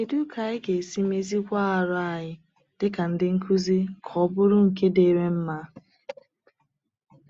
Kédú ka anyị ga-esi méziwá àrụ́ anyị díkà ndị nkuzi ka ọ bụrụ nke dírị mma?